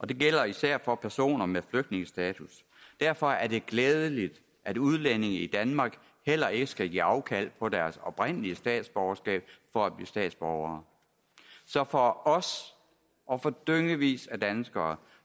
det gælder især for personer med flygtningestatus derfor er det glædeligt at udlændinge i danmark heller ikke skal give afkald på deres oprindelige statsborgerskab for at blive statsborgere så for os og for dyngevis af danskere